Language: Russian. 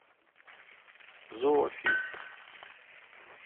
зоофест